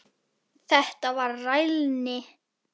Þetta var rælni.